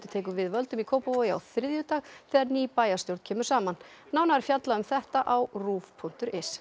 tekur við völdum í Kópavogi á þriðjudag þegar ný bæjarstjórn kemur saman nánar er fjallað um þetta á ruv punktur is